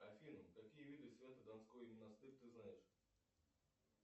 афина какие виды свято донской монастырь ты знаешь